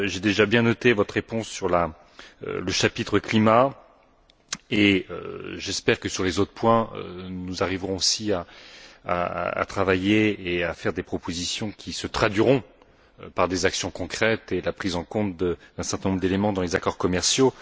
J'ai bien noté sa réponse sur le chapitre climat, et j'espère que sur les autres points, nous arriverons aussi à travailler et à faire des propositions qui se traduiront par des actions concrètes et la prise en compte d'un certain nombre d'éléments dans les accords commerciaux.